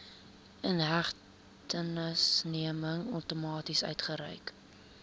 inhegtenisneming outomaties uitgereik